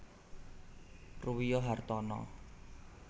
Ruwiyo Hartana